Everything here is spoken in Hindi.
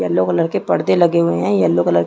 येल्लो कलर के पर्दे लगे हुए है येल्लो कलर के--